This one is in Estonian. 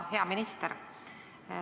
Hea minister!